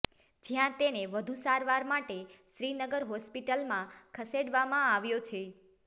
જ્યાં તેને વધુ સારવાર માટે શ્રીનગર હોસ્પિટલમાં ખસેડવામાં આવ્યો છે